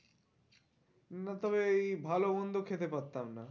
না তবে এই ভালো মন্দ খেতে পারতাম না।